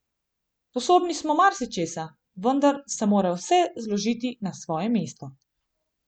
Sposobni smo marsičesa, vendar se mora vse zložiti na svoje mesto.